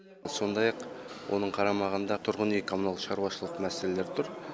сондай ақ оның қарамағында тұрғын үй коммунал шаруашылығы мәселелері тұр